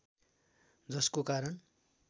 जसको कारण